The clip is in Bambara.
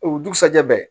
O dugusajɛ